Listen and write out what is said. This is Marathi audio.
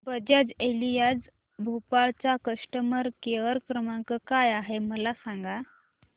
बजाज एलियांज भोपाळ चा कस्टमर केअर क्रमांक काय आहे मला सांगा